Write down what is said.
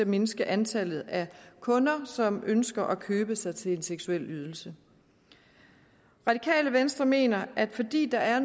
mindske antallet af kunder som ønsker at købe sig til en seksuel ydelse radikale venstre mener at fordi der er